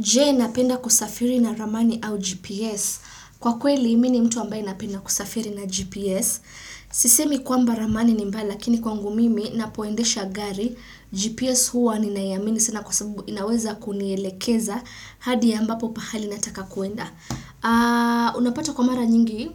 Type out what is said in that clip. Je, napenda kusafiri na ramani au GPS? Kwa kweli mimi mtu ambaye napenda kusafiri na GPS. Sisemi kwamba ramani ni mbaya lakini kwangu mimi napoendesha gari. GPS huwa ninaamini sina kwa sababu inaweza kunielekeza. Hadi ambapo pahali nataka kuenda. Unapata kwa mara nyingi,